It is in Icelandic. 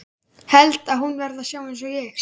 Held að hún verði að sjá einsog ég.